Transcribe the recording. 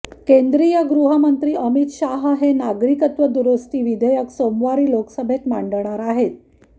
केंद्रीय गृहमंत्री अमित शाह हे नागरिकत्व दुरुस्ती विधेयक सोमवारी लोकसभेत मांडणार आहेत